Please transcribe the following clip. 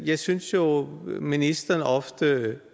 jeg synes jo ministeren ofte